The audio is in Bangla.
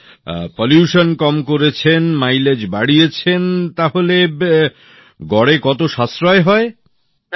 আচ্ছা দূষণ কম করেছেন মাইলেজ বাড়িয়েছেন তাহলে গড়ে কত সাশ্রয় হয়